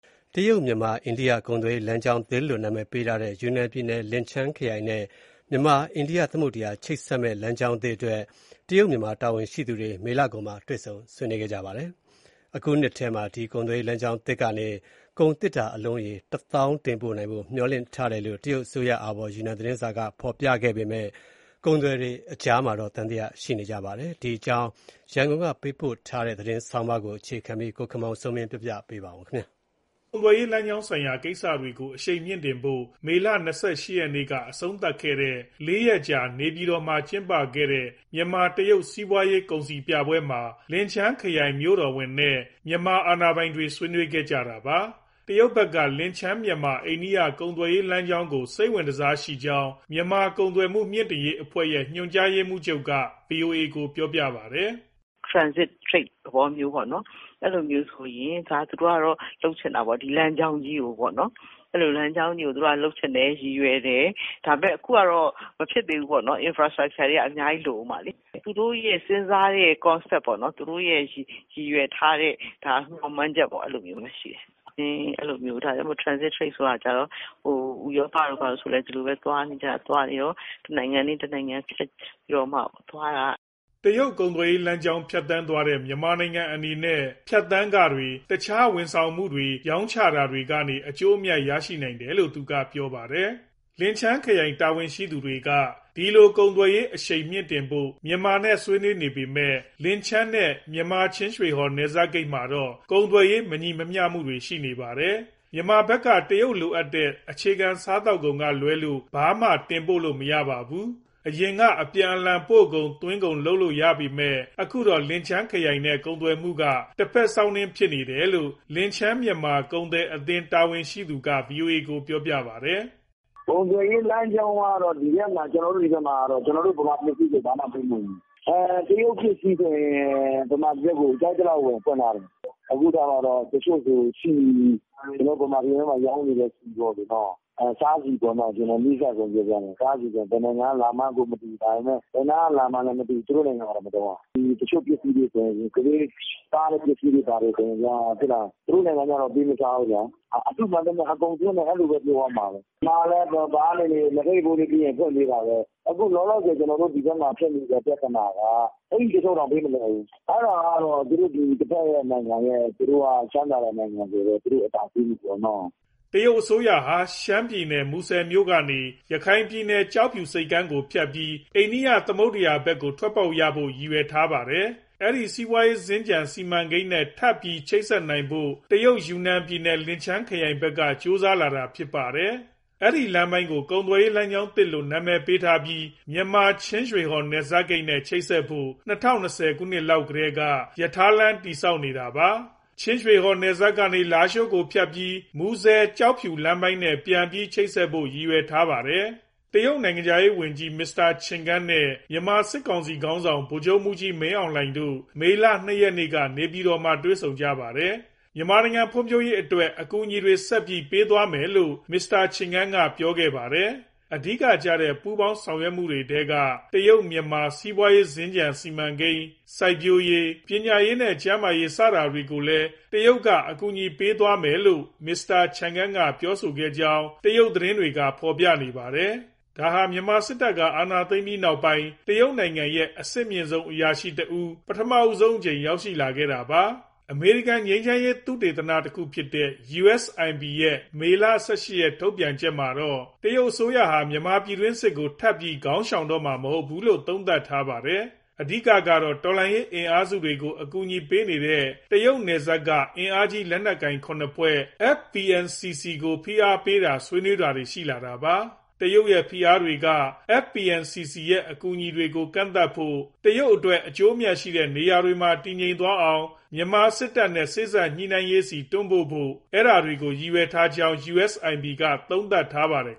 တရုတ်-မြန်မာ-အိန္ဒိယ ကုန်သွယ်ရေး လမ်းကြောင်းသစ်လို့ နာမည်ပေးထားတဲ့ ယူနန်ပြည်နယ်၊ လင်ချန်းခရိုင်နဲ့ မြန်မာ၊ အိန္ဒိယသမုဒ္ဒရာ ချိတ်ဆက်မဲ့ လမ်းကြောင်းသစ်အတွက် တရုတ်-မြန်မာ တာဝန်ရှိသူတွေ မေလကုန်မှာ တွေ့ဆုံဆွေးနွေးခဲ့ကြပါတယ်။ အခုနှစ်ထဲမှာ ဒီကုန်သွယ်ရေး လမ်းကြောင်းသစ်ကနေ ကုန်သေတ္တာအလုံးရေ ၁၀,၀၀၀ တင်ပို့နိုင်ဖို့ မျှော်လင့်ထားတယ်လို့ တရုတ်အစိုးရအာဘော် ယူနန်သတင်းစာက ဖော်ပြခဲ့ပေမဲ့ ကုန်သည်တွေကြား သံသယတွေလည်း ရှိနေကြတာပါ။ ဒီအကြောင်း ရန်ကုန်ကပေးပို့တဲ့ သတင်းဆောင်းပါးကို ကိုခင်မောင်စိုးမင်း တင်ပြထားပါတယ်။ ကုန်သွယ်ရေး လမ်းကြောင်းဆိုင်ရာ ကိစ္စတွေကို အရှိန်မြှင့်တင်ဖို့ မေလ ၂၈ ရက်နေ့က အဆုံးသတ်ခဲ့တဲ့ ၄ ရက်ကြာ နေပြည်တော်မှာ ကျင်းပခဲ့တဲ့ မြန်မာ-တရုတ် စီးပွားရေးကုန်စည်ပြပွဲမှာ လင်ချန်းခရိုင် မြို့တော်ဝန်နဲ့ မြန်မာအာဏာပိုင်တွေ ဆွေးနွေးခဲ့ကြတာပါ။ တရုတ်ဘက်က လင်ချန်း-မြန်မာ-အိန္ဒိယ ကုန်သွယ်ရေး လမ်းကြောင်းကို စိတ်ဝင်တစားရှိကြောင်း မြန်မာ့ကုန်သွယ်မှု မြှင့်တင်ရေးအဖွဲ့ရဲ့ ညွှန်ကြားရေးမှူးချုပ်က ဗွီအိုအေကို ပြောပါတယ်။ " Transit trade သဘောမျိုးပေါ့၊ အဲလိုမျိုး သူတို့က လုပ်ချင်တာပေါ့၊ ဒီလမ်းကြောင်းကြီးကိုပေါ့နော်။ လုပ်ချင်တယ်၊ ရည်ရွယ်တယ်။ ဒါပေမဲ့ အခုကတော့ မဖြစ်သေးဘူးပေါ့နော် infrastructure တွေက အများကြီး လိုဦးမှာလေ။ သူတို့ရဲ့ စဉ်းစားတဲ့ concept ပေါ့နော်။ သူတို့ရည်ရွယ်ထားတဲ့ မျှော်မှန်းချက်ပေါ့ အဲလိုမျိုးရှိတယ်။ ဒါကြောင့် transit trade ဆိုတာ ဟို ဥရောပတို့ဘာတို့လည်း ဒီလိုပဲ တနိုင်ငံနဲ့တနိုင်ငံ ဖြတ်ပြီးတော့မှသွားတာ။" တရုတ်ကုန်သွယ်ရေးလမ်းကြောင်း ဖြတ်သန်းသွားတဲ့ မြန်မာနိုင်ငံအနေနဲ့ ဖြတ်သန်းခတွေ၊ တခြား ဝန်ဆောင်မှုတွေ ရောင်းချတာကနေ အကျိုးအမြတ် ရရှိနိုင်တယ်လို့ သူကပြောပါတယ်။ လင်ချန်းခရိုင် တာဝန်ရှိသူတွေက ဒီလို ကုန်သွယ်ရေးအရှိန်မြှင့်တင်ဖို့ မြန်မာနဲ့ဆွေးနွေးနေပေမဲ့ လင်ချန်းနဲ့ မြန်မာချင်းရွှေဟော် နယ်စပ်ဂိတ်မှာတော့ ကုန်သွယ်ရေး မညီမျှမှုတွေ ရှိနေပါတယ်။ မြန်မာဘက်က တရုတ်လိုအပ်တဲ့ အခြေခံ စားသောက်ကုန်ကလွဲလို့ ဘာမှတင်ပို့လို့ မရပါဘူး။ အရင်က အပြန်အလှန် ပို့ကုန်၊ သွင်းကုန် လုပ်လို့ရပေမဲ့ အခုတော့ လင်ချန်းခရိုင်နဲ့ ကုန်သွယ်မှုက တဖက်စောင်းနင်း ဖြစ်နေတယ်လို့ လင်ချန်း-မြန်မာကုန်သည်အသင်း တာဝန်ရှိသူက ဗွီအိုအေကို ပြောပါတယ်။ " ကုန်သွယ်ရေးလမ်းကြောင်းက ဒီဘက် (ချင်းရွှေဟော်- လင်ချန်း) မှာတော့ ကျနော်တို့ ဗမာပစ္စည်းဆို ဘာမှပေးမဝင်ဘူး။ တရုတ်ပစ္စည်းဆို ဗမာပြည်ဘက် ကြိုက်သလောက်ဝင် ဖွင့်ထားတယ်။ တချို့ဆို ဆီ၊ ဗမာပြည်မှာ ရောင်းနေတဲ့ဆီ စားဆီပေါ့ အနီးစပ်ဆုံး၊ ဘယ်နိုင်ငံက လာမှန်းကိုမသိဘူး၊ ဘယ်နားက လာမှန်းလည်းမသိ၊ သူတို့နိုင်ငံမှာတော့ မသုံးရဘူး။ တချို့ ကလေးတွေစားတဲ့ ပစ္စည်းတွေဘာတွေ သူတို့နိုင်ငံမှာကြ ပေးမစားဘူးဗျာ။ အတုမှန်သမျှ အကုန်သွင်းတယ် အဲလိုပဲပြောရမယ်။ ဗမာကလည်း လက်ဖက်ရည်ဖိုးလေးပေးရင် ဖွင့်ပေးတာပဲ။ အခုလောလောဆယ် ဒီဘက်မှာဖြစ်နေတဲ့ ပြဿနာက အိတ်တချို့တောင် ပေးမလွယ်ဘူး။ အဲဒါကတော့ တဖက်နိုင်ငံရဲ့ ချမ်းသာတဲ့နိုင်ငံဆိုတော့ သူတို့အသာစီးပေါ့။" တရုတ်အစိုးရဟာ ရှမ်းပြည်နယ် မူဆယ်မြို့ကနေ ရခိုင်ပြည်နယ် ကျောက်ဖြူဆိပ်ကမ်းကိုဖြတ်ပြီး အိန္ဒိယသမုဒ္ဒရာဘက်ကိုထွက်ဖို့ ရည်ရွယ်ထားတာပါ။ အဲဒီ စီးပွားရေးစင်္ကြန် စီမံကိန်းနဲ့ ထပ်ပြီးချိတ်ဆက်ဖို့ တရုတ်ယူနန်ပြည်နယ် လင်ချန်းခရိုင်ဘက်က ကြိုးစားလာတာ ဖြစ်ပါတယ်။ အဲဒီလမ်းပိုင်းကို ကုန်သွယ်ရေး လမ်းကြောင်းသစ်လို့ နာမည်ပေးထားပြီး မြန်မာ ချင်းရွှေဟော် နယ်စပ်ဂိတ်နဲ့ ချိတ်ဆက်ဖို့ ၂၀၂၀ လောက်ကတည်းက ရထားလမ်း တည်ဆောက်နေတာပါ။ ချင်းရွှေဟော်နယ်စပ်ကနေ လားရှိုးကိုဖြတ်ပြီး မူဆယ်- ကျောက်ဖြူလမ်းပိုင်းနဲ့ ပြန်ပြီး ချိတ်ဆက်ဖို့ ရည်ရွယ်ထားတာပါ။ တရုတ်နိုင်ငံခြားရေးဝန်ကြီး မစ္စတာချင်ကန်းနဲ့ မြန်မာစစ်ကောင်စီ ခေါင်းဆောင် ဗိုလ်ချုပ်မှူးကြီး မင်းအောင်လှိုင်တို့ မေလ၂ရက်က နေပြည်တော်မှာ တွေ့ဆုံကြပါတယ်။ မြန်မာ့ဖွံ့ဖြိုးရေးအတွက် အကူအညီတွေ ဆက်ပြီး ပေးသွားမယ်လို့ မစ္စတာချင်ကန်းက ပြောခဲ့တာပါ။ အဓိကကျတဲ့ ပူးပေါင်းဆောင်ရွက်မှုတွေထဲက တရုတ်-မြန်မာ စီးပွားရေး စင်္ကြန်စီမံကိန်း၊ စိုက်ပျိုးရေး၊ ပညာရေးနဲ့ ကျန်းမာရေး ဒါတွေကိုလည်း တရုတ်က အကူအညီပေးသွားမယ်လို့ မစ္စတာချင်ကန်းက ပြောဆိုခဲ့ကြောင်း တရုတ်သတင်းတွေက ဖော်ပြခဲ့ပါတယ်။ ဒါဟာ မြန်မာစစ်တပ်က အာဏာသိမ်းပြီးနောက်ပိုင်း တရုတ်ရဲ့ အမြင့်ဆုံးအရာရှိတဦး ပထမဆုံးအကြိမ် ရောက်လာခဲ့တာပါ။ အမေရိကန် ငြိမ်းချမ်းရေး သုတေသနဌာနတခုဖြစ်တဲ့ USIP ရဲ့ မေလ ၁၈ရက် ထုတ်ပြန်ချက်မှာတော့ တရုတ်ဟာ မြန်မာပြည်တွင်းစစ်ကို ထပ်ပြီး ခေါင်းရှောင်တော့မှာ မဟုတ်ဘူးလို့ သုံးသပ်ထားပါတယ်။ အဓိကတော့ တော်လှန်ရေး အင်အားစုတွေကို အကူအညီပေးနေတဲ့ တရုတ်နယ်စပ်က အင်အားကြီး လက်နက်ကိုင်၇ဖွဲ့ FPNCC ကို ဖိအားပေးတာ၊ ဆွေးနွေးတာတွေ ရှိလာတာပါ။ တရုတ်ရဲ့ ဖိအားတွေက FPNCCရဲ့ အကူအညီတွေကို ကန့်သတ်ဖို့၊ တရုတ် အကျိုးအမြတ်တွေရှိတဲ့ နေရာတွေမှာ တည်ငြိမ်သွားအောင် မြန်မာစစ်တပ်နဲ့ စေ့စပ်ညှိနှိုင်းရေးဆီ တွန်းပို့ဖို့ ဒါတွေကို ရည်ရွယ်ထားကြောင်း USIP က သုံးသပ်ထားပါတယ်